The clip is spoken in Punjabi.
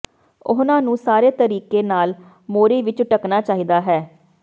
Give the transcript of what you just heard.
ਉਹਨਾਂ ਨੂੰ ਸਾਰੇ ਤਰੀਕੇ ਨਾਲ ਮੋਰੀ ਵਿਚ ਢੱਕਣਾ ਚਾਹੀਦਾ ਹੈ